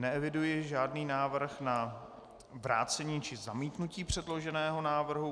Neeviduji žádný návrh na vrácení či zamítnutí předloženého návrhu.